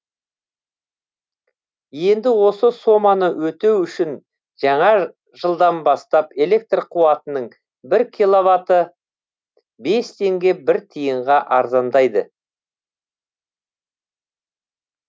енді осы соманы өтеу үшін жаңа жылдан бастап электр қуатының бір киловаты бес теңге бір тиынға арзандайды